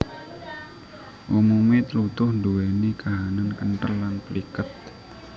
Umume tlutuh nduweni kahanan kenthel lan pliket